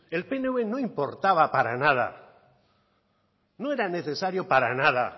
el pnv no importaba para nada no era necesario para nada